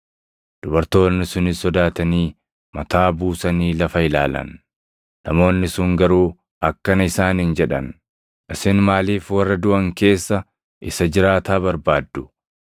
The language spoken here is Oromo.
Dubartoonni sunis sodaatanii mataa buusanii lafa ilaalan; namoonni sun garuu akkana isaaniin jedhan; “Isin maaliif warra duʼan keessa isa jiraataa barbaaddu?